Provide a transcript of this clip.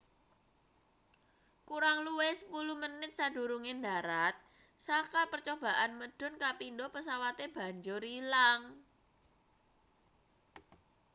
kurang luwih sepuluh menit sadurunge ndharat saka percobaan medhun kapindo pesawate banjur ilang